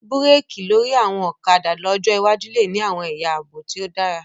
Búrékì lórí àwọn ọ̀kadà ọjọ́ iwájú lè ní àwọn ẹ̀yà àbò tí ó dára